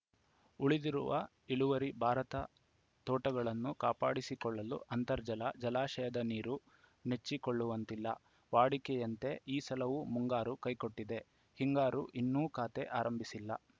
ಉಳಿದಿರುವ ಇಳುವರಿ ಭಾರತ ತೋಟಗಳನ್ನು ಕಾಪಾಡಿಕೊಳ್ಳಲು ಅಂತರ್ಜಲ ಜಲಾಶಯದ ನೀರು ನೆಚ್ಚಿಕೊಳ್ಳುವಂತಿಲ್ಲ ವಾಡಿಕೆಯಂತೆ ಈ ಸಲವೂ ಮುಂಗಾರು ಕೈಕೊಟ್ಟಿದೆ ಹಿಂಗಾರು ಇನ್ನೂ ಖಾತೆ ಆರಂಭಿಸಿಲ್ಲ